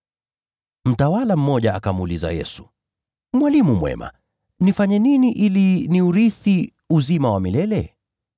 Mtawala mmoja akamuuliza Yesu, “Mwalimu mwema, nifanye nini ili niurithi uzima wa milele?”